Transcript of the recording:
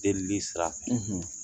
Deelili sira fɛ